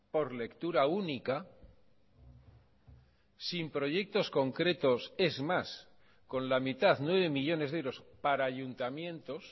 por lectura única sin proyectos concretos es más con la mitad nueve millónes de euros para ayuntamientos